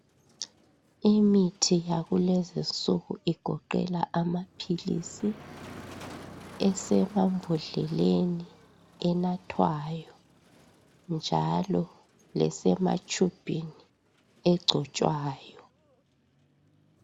Imithi yakulezinsuku igoqela amaphilisi, esemambodleleni enathwayo njalo lesematshubhini egcotshwayo.